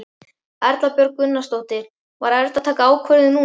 Erla Björg Gunnarsdóttir: Var erfitt að taka ákvörðun núna?